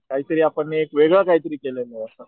काय तरी आपण एक वेगळं काय तरी केलं असं.